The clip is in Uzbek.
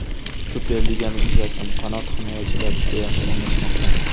Superligani kuzatdim, qanot himoyachilar juda yaxshi o‘ynashmoqda.